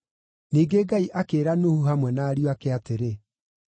Ningĩ Ngai akĩĩra Nuhu hamwe na ariũ ake atĩrĩ,